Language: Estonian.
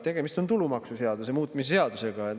Tegemist on tulumaksuseaduse muutmise seadusega.